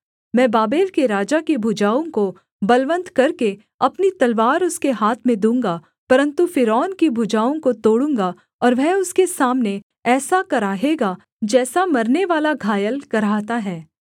मैं बाबेल के राजा की भुजाओं को बलवन्त करके अपनी तलवार उसके हाथ में दूँगा परन्तु फ़िरौन की भुजाओं को तोड़ूँगा और वह उसके सामने ऐसा कराहेगा जैसा मरनेवाला घायल कराहता है